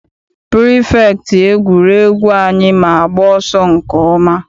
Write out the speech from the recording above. Pirifektị egwuregwu anyị ma agba ọsọ nke ọma.